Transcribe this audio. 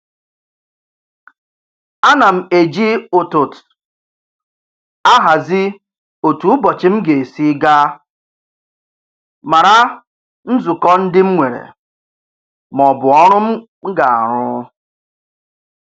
Ana m eji ụtụt ahazi otu ụbọchị m ga-esi aga, mara nzukọ ndị m nwere maọbụ ọrụ m ga-arụ